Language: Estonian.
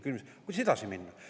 Aga kuidas edasi minna?